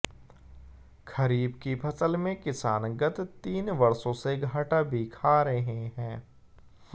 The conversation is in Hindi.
खरीफ की फसल में किसान गत तीन वर्षों से घाटा भी खा रहे है